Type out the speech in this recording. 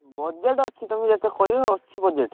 Budget ଅଛି ତମେ ଯେତେ କହିବ ଅଛି budget ।